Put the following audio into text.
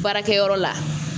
Baarakɛyɔrɔ la